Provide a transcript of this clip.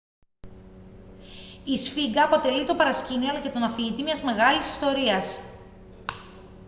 η σφίγγα αποτελεί το παρασκήνιο αλλά και τον αφηγητή μιας μεγάλης ιστορίας